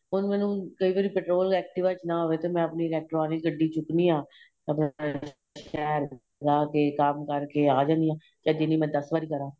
ਹੁਣ ਮੈਨੂੰ ਕਈ ਵਾਰੀ petrol activa ਵਿੱਚ ਨਾ ਹੋਵੇ ਤਾਂ ਮੈਂ ਆਪਣੀ electronic ਗੱਡੀ ਚੁੱਕਣੀ ਆਂ ਜਾਂਕੇ ਕੰਮ ਕਰਕੇ ਆਂ ਜਾਣੀ ਹਾਂ ਚਾਹੇ ਜਿੰਨੀ ਮਰਜੀ ਦੱਸ ਵਾਰ ਕਰਾ